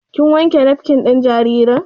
Kin wanke nafkin ɗin jaririn?